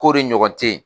Ko de ɲɔgɔn te ye